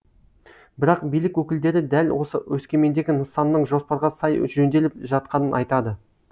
бірақ билік өкілдері дәл осы өскемендегі нысанның жоспарға сай жөнделіп жатқанын айтады